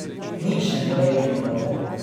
Nič ne more iti narobe.